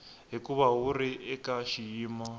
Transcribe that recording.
hikuva wu ri eka xiyimo